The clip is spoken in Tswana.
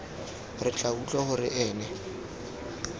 re tla utlwa gore ene